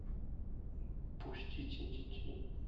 пустите детей